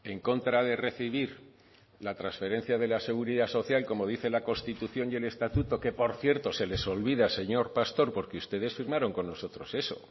en contra de recibir la transferencia de la seguridad social como dice la constitución y el estatuto que por cierto se les olvida señor pastor porque ustedes firmaron con nosotros eso